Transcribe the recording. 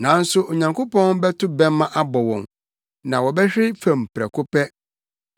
Nanso Onyankopɔn bɛto bɛmma abɔ wɔn; na wɔbɛhwe fam prɛko pɛ.